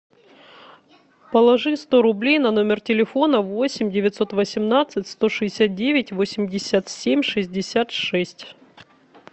положи сто рублей на номер телефона восемь девятьсот восемнадцать сто шестьдесят девять восемьдесят семь шестьдесят шесть